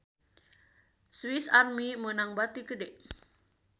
Swis Army meunang bati gede